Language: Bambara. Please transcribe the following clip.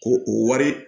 Ko o wari